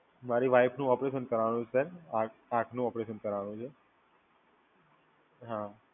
મારી વાઈફનું ઓપરેશન કરાવવાનું છે, આંખનું ઓપરેશન કરાવવાનું છે. હા,